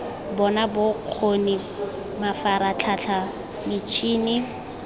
bona bokgo ni mafaratlhatlha mitshini